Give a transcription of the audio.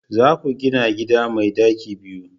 za ku gina gida mai daki biyu!